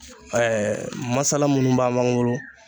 Ɛɛ masala munnu b'an b'an bolo